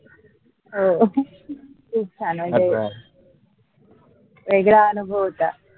हो खूप छान वेगळा अनुभव होता